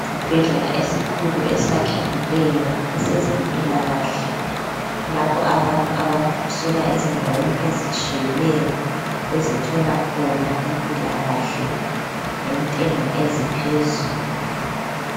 Isibhedlela esikhulu esakhekileyo esezempilakahle lapho abantu abasuka ezindaweni ezitshiyeneyo bezethola khona impilakahle ngentengo eziphezulu.